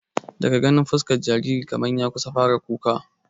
Daga ganin fuskar jaririn kamar ya kusan fara kuka